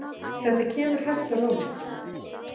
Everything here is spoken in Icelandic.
Þetta kemur hægt og rólega.